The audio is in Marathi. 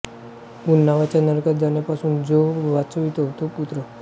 पुन नावाच्या नरकात जाण्यापासून जो वाचवितो तो पुत्र